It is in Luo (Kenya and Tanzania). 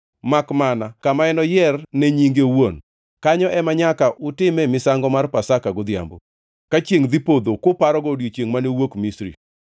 makmana kama enoyier ne nyinge owuon. Kanyo ema nyaka utime misango mar Pasaka godhiambo, ka chiengʼ dhi podho kuparogo odiechiengʼ mane uwuokie Misri.